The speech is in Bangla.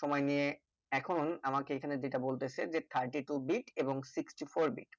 সময় নিয়ে আমাকে যেটা বলতেছে যে thirty two bit এবং sixty four bit